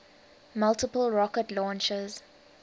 multiple rocket launchers